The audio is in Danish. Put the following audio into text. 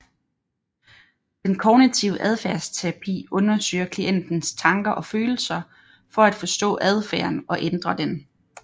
Den kognitive adfærdsterapi undersøger klientens tanker og følelser for at forstå adfærden og ændre den